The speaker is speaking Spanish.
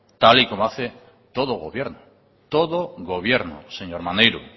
tal y como hace todo gobierno todo gobierno señor maneiro